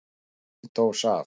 Heil dós af